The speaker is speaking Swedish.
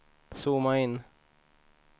zooma in